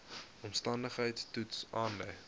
omstandigheids toets aandui